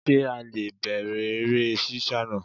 Sé a le è bẹ̀rẹ̀ eré sísá naa